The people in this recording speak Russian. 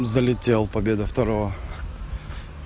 залетел победа второго